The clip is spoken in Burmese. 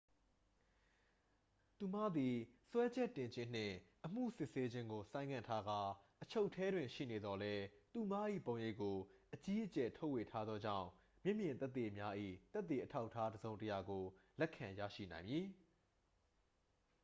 သူမသည် စွဲချက်တင်ခြင်းနှင့် အမှုစစ်ဆေးခြင်းကို ဆိုင်းငံ့ထားကာ အချုပ်ထဲတွင် ရှိနေသော်လည်း သူမ၏ရုပ်ပုံကို အကြီးအကျယ် ထုတ်ဝေထားသောကြောင့် မျက်မြင်သက်သေများ၏ သက်သေအထောက်အထားတစ်စုံတစ်ရာကို လက်ခံရရှိနိုင်မည်